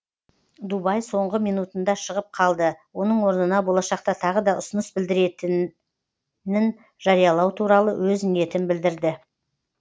дубай соңғы минутында шығып қалды оның орнына болашақта тағы да ұсыныс білдіретінін жариялау туралы өз ниетін білдірді